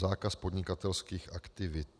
Zákaz podnikatelských aktivit...